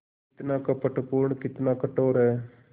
कितना कपटपूर्ण कितना कठोर है